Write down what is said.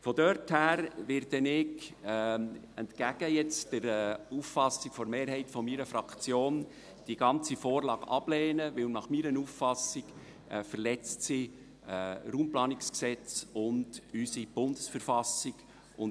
Insofern werde ich – entgegen der Auffassung der Mehrheit meiner Fraktion – die ganze Vorlage ablehnen, weil sie meiner Auffassung nach das RPG und unsere Bundesverfassung verletzt.